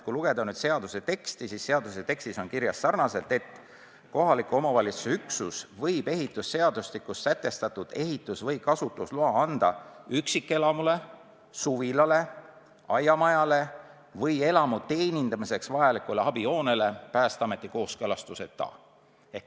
Kui lugeda seaduse teksti, siis selles on kirjas, et kohaliku omavalitsuse üksus võib ehitusseadustikus sätestatud ehitus- või kasutusloa anda üksikelamule, suvilale, aiamajale või elamu teenindamiseks vajalikule abihoonele Päästeameti kooskõlastuseta.